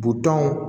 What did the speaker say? Butɔnw